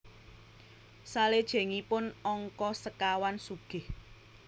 Salejengipun angka sekawan sugih